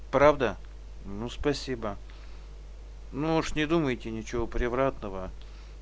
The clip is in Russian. правда ну спасибо ну уж не думайте ничего превратного